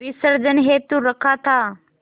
विसर्जन हेतु रखा था